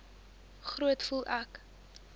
groet voel ek